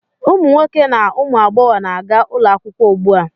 Ụmụ nwoke na ụmụ agbọghọ na-aga ụlọakwụkwọ ugbua.